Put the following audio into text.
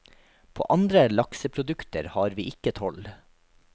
På andre lakseprodukter har vi ikke toll.